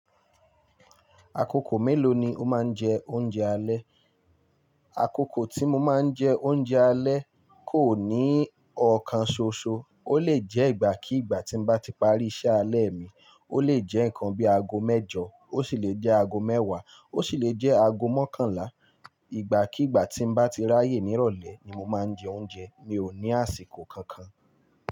Akoko mélòó ni o máa ń jẹ oúnjẹ alẹ́? Akoko tí mo máa ń jẹ oúnjẹ alẹ́ kò ní ọ̀kan ṣoṣo. Ó lè jẹ́ ìgbà kígba tí n bá ti parí iṣẹ́ alẹ́ mi, ó lè jẹ́ nǹkan bí i ago mẹ́jọ, ó sì lè jẹ́ ago mẹ́wàá, ó sì lè jẹ́ ago mọ́kànlá. Ìgbà kígba tí n bá ti ráyè nírọ̀lẹ́ ni mo máa ń jẹ oúnjẹ, mi ò ní àsìkò kankan.